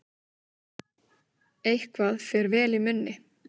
Eitthvað fer vel í munni